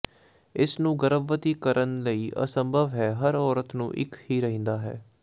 ਇਸ ਨੂੰ ਗਰਭਵਤੀ ਕਰਨ ਲਈ ਅਸੰਭਵ ਹੈ ਹਰ ਔਰਤ ਨੂੰ ਇੱਕ ਹੀ ਰਹਿੰਦਾ ਹੈ